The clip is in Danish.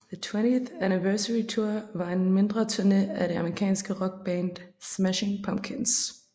The 20th Anniversary Tour var en mindre turné af det amerikanske rockband Smashing Pumpkins